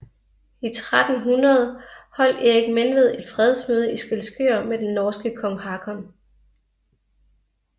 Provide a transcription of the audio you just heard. I 1300 holdt Erik Menved et fredsmøde i Skælskør med den norske kong Hakon